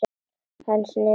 Hann synjaði beiðni minni.